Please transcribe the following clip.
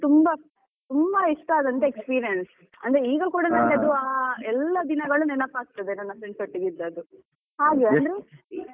ತುಂಬಾ ತುಂಬಾ ಇಷ್ಟ ಆದ experience ಅಂದ್ರೆ ಈಗ ಕೂಡ ನನ್ಗೆ ಅದು ಎಲ್ಲಾ ದಿನಗಳು ನೆನಪಾಗ್ತದೆ ನನ್ನ friends ಒಟ್ಟಿಗೆ ಇದ್ದದ್ದು .